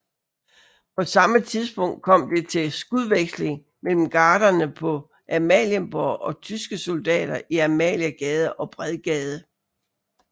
På samme tidspunkt kom det til skudveksling mellem gardere på Amalienborg og tyske soldater i Amaliegade og Bredgade